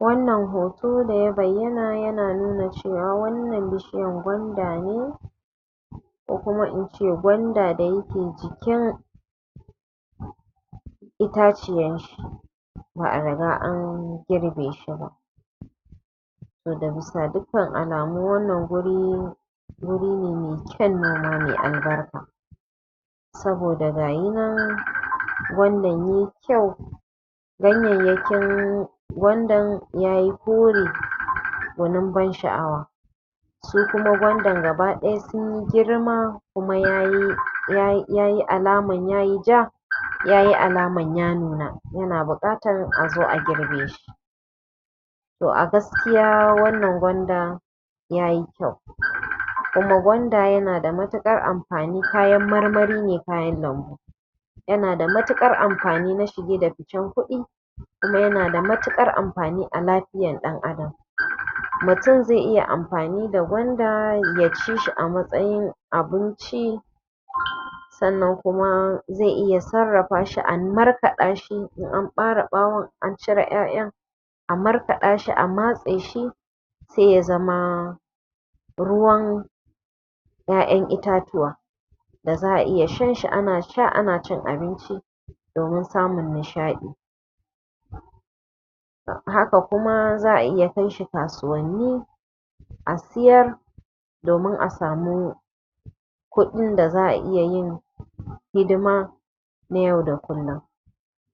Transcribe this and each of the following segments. Wannan hoto da ya bayyana yana nuna cewa wannan bishiyan gwanda ne ko kuma in ce gwanda da ya ke jikin itaciyanshi ba a riga an girbe shi ba. To daga bisa dukkan alamu wannan guri guri ne mai kyan noma mai albarka saboda gashi nan gwandan yai kyau ganyayyakin gwandan yai kyau ya yi kore gunin ban shaʼawa su kuma gwandan gabadaya sun yi girma kuma ya yi alaman ya yi ja ya yi alaman ya nuna yana buƙatan a zo a girbe shi. To a gaskiya wannan gwandan ya yi kyau kuma gwanda ya na da matukar amfani kayan marmari ne kayan lambu, yana da matukar amfani na shige da ficen kuɗi kuma yana da matuƙar amfani na lafiyar Ɗan Adam. Mutum zai iya amfani da gwanda ya ci shi a matsayin abinci sannan kuma zai iya sarrafa shi a markaɗa shi in an ɓare ɓawon an cire 'ya'yan a markaɗa shi a matse shi sai ya zama ruwan ƴaƴan itatuwa da za a iya shan shi ana shan shi ana cin abinci domin samun nishaɗi, haka kuma iya kai shi kasuwanni a sayar domin a sami kuɗin da za a iya yin hidima na yau da kullum.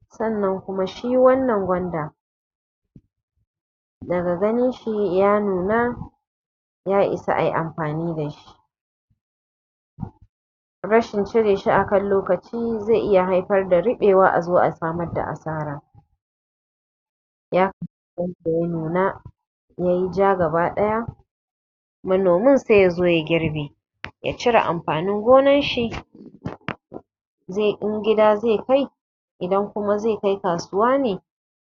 Sannan kuma shi wannan gwanda daga ganin shi ya nuna ya isa ai amfani da shi, rashin cire shi a kan lokaci zai iya haifar da ruɓewa a zo a samar da asara ya ya nuna ya yi ja gabdaya manomin sai ya zo ya girbe ya cire amfanin gonanshi zai in gida zai kai in kuma zai kai kasuwa ne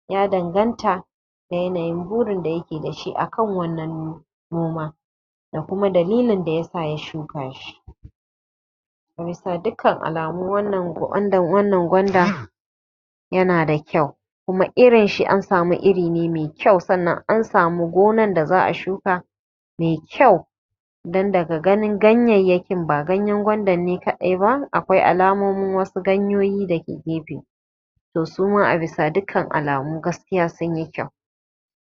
ya danganta ga yanayin burin da ya ke da shi a kan wannan noma da kuma dalilin da sa ya shuka shi. Bisa dukkan alamu wannan gwanda yana da kyau kuma irin shi, an sami iri ne mai kyau sannan an sami gonan da za a shuka mai kyau dan daga ganin ganyayyakin ba gwandan ne kaɗai ba akwai alamomin wassu ganyayyakin daga gefe to suma a bisa dukkan alamu gaskiya sun yi kyau.